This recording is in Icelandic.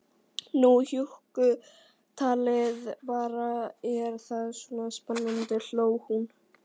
Nú hjúkkutalið bara, er það svona spennandi, hló hún.